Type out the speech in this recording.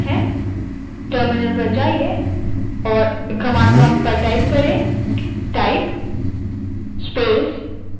terminal पर जाएँ और command type करें